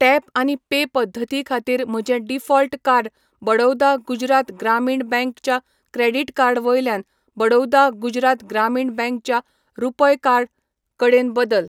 Tap आनी pay पद्दती खातीर म्हजें default card Baroda Gujarat Gramin bank च्या क्रेडिट कार्ड वयल्यान बडौदा गुजरात ग्रामीण बँक च्या रुपय कार्ड कडेन बदल.